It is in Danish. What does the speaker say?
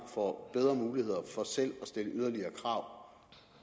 får bedre muligheder for selv at stille yderligere krav